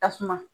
Tasuma